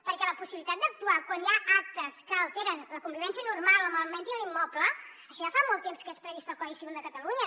perquè la possibilitat d’actuar quan hi ha actes que alteren la convivència normal en l’immoble això ja fa molt temps que és previst al codi civil de catalunya